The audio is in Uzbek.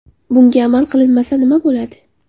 Bunga amal qilinmasa nima bo‘ladi?